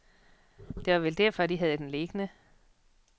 Det var vel derfor, de havde den liggende.